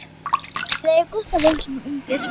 Þið eigið gott að vera svona ungir.